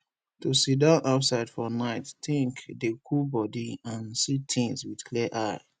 to sidon outside for nite think dey cool body and see things with clear eye